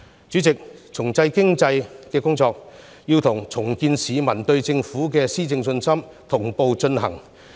主席，重振經濟的工作，要與重建市民對政府的施政信心同步進行。